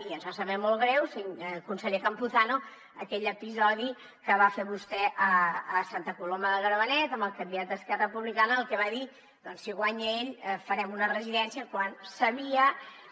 i ens va saber molt greu conseller campuzano aquell episodi que va fer vostè a santa coloma de gramenet amb el candidat d’esquerra republicana en el que va dir doncs si guanya ell farem una residència quan